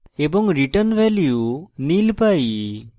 এবং return value nil পাই